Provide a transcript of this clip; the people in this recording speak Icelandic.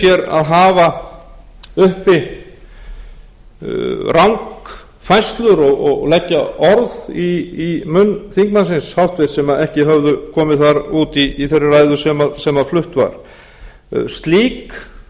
í raun leyfði sér að hafa uppi rangfærslur og leggja orð í munn þingmannsins háttvirta sem ekki höfðu komið þar út í þeirri ræðu sem flutt var